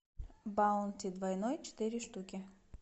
баунти двойной четыре штуки